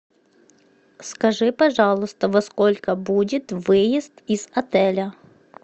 скажи пожалуйста во сколько будет выезд из отеля